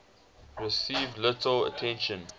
received little attention